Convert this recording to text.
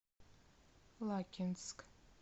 лакинск